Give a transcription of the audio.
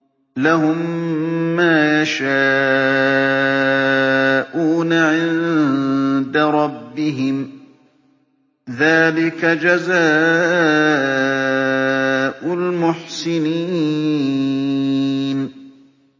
لَهُم مَّا يَشَاءُونَ عِندَ رَبِّهِمْ ۚ ذَٰلِكَ جَزَاءُ الْمُحْسِنِينَ